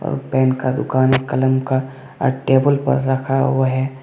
Pen का दुकान है कलम का टेबल पर रखा हुआ है।